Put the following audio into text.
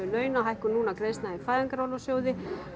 launa hækkun núna greiðslna úr Fæðingarorlofssjóði